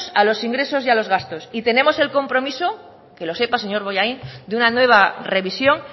a los ingresos y los gastos y tenemos el compromiso que lo sepa señor bollain de una nueva revisión